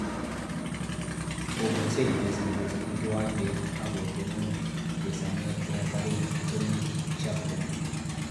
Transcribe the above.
Komweeyso chechesandos eng kiwancheet akotoonoon chesaneet refari Tony chapron